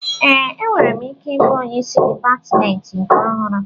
Ee, enwere m ike ịbụ onyeisi dịpatmentị nke ọhụrụ